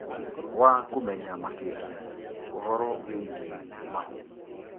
wa kũmenya makĩria ũhoro wĩgiĩ mahu.